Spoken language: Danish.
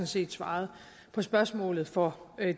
set svaret på spørgsmålet for